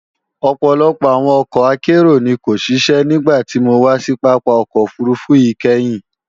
Ọ̀pọ̀lọpọ̀ àwọn ọkọ̀ akérò ni kò ṣiṣẹ́ nígbàtí mo wà sí Pápá ọkọ̀ òfurufú yìí kẹ́hìn